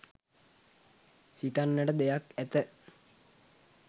සිතන්නට දෙයක් ඇත.